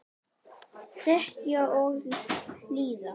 Þegja og hlýða.